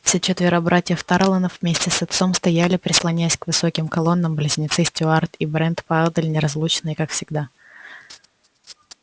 все четверо братьев тарлонов вместе с отцом стояли прислонясь к высоким колоннам близнецы стюарт и брент поодаль неразлучные как всегда